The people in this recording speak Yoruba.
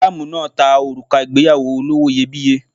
Malamu náà ta òrùka ìgbéyàwó olówó iyebíye.